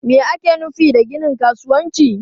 Me ake nufi da ginin kasuwanci?